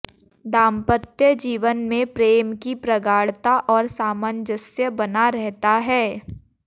दांपत्य जीवन में प्रेम की प्रगाढ़ता और सामंजस्य बना रहता है